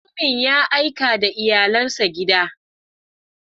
Mutumin ya aika da iyalinsa birni.